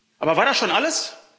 Aber war das schon alles?